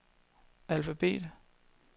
alfabet